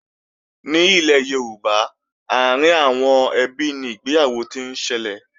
Ní ilẹ̀ Yorùbá, àárín àwọn ẹbí ni ìgbéyàwó ti ń ṣẹlẹ̀